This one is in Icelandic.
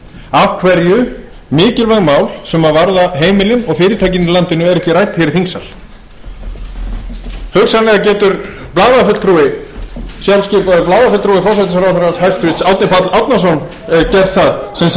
af hverju mikilvæg mál sem varða heimilin og fyrirtækin í landinu eru ekki rædd hér í þingsal hugsanlega getur blaðafulltrúi sjálfskipaður blaðafulltrúi hæstvirtur forsætisráðherra árni páll árnason gert það sem sagði að hér væru mikilvæg mál á